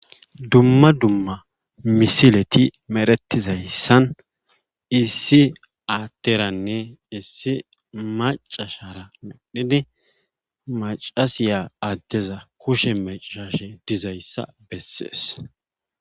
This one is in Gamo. Dumma dumma misileti meretizayssan issi atteranne issi macashara medhidi macasiya addeza kushe macsashe dizayssa bessees.